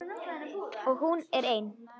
Og hún er ein.